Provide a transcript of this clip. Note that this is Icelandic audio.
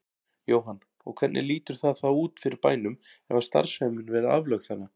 Jóhann: Og hvernig lítur það þá út fyrir bænum ef að starfsemin verði aflögð þarna?